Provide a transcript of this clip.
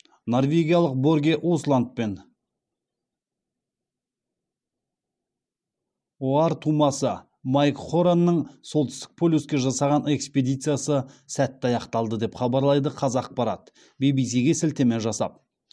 норвегиялық борге усланд пен оар тумасы майк хоронның солтүстік полюске жасаған экспедициясы сәтті аяқталды деп хабарлайды қазақпарат ввс ге сілтеме жасап